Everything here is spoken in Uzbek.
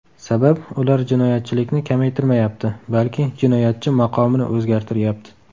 Sabab, ular jinoyatchilikni kamaytirmayapti, balki jinoyatchi maqomini o‘zgartiryapti.